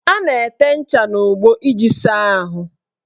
A na-ete ncha n' ogbo iji saa ahụ.